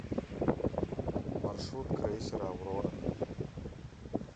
маршрут крейсер аврора